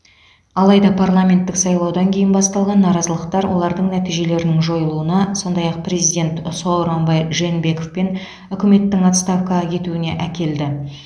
алайда парламенттік сайлаудан кейін басталған наразылықтар олардың нәтижелерінің жойылуына сондай ақ президент сооронбай жээнбеков пен үкіметтің отставкаға кетуіне әкелді